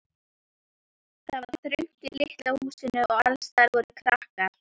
Það var þröngt í litla húsinu og allsstaðar voru krakkar.